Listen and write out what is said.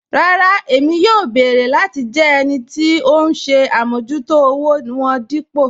Rárá Ẹ̀mí yóò bẹ̀ẹ̀rẹ̀ láti jẹ́ ẹnì tì ọ̀hun ṣè àmọ̀jútò òwò wọn dípò